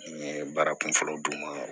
N ye baara kunfɔlɔ d'u ma